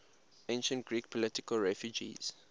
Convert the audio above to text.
ancient greek political refugees